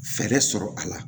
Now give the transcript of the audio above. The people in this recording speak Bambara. Fɛɛrɛ sɔrɔ a la